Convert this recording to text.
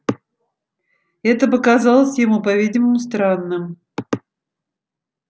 это показалось ему по-видимому странным